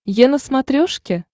е на смотрешке